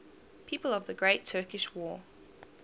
people of the great turkish war